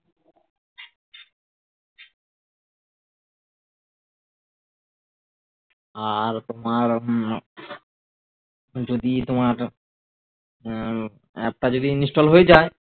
আর তোমার হম যদি তোমার উম app টা যদি install হয়ে যায়